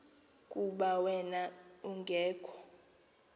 kuba wen ungekho